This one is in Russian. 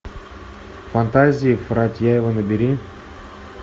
фантазии фарятьева набери